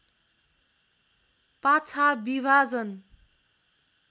पाछा विभाजन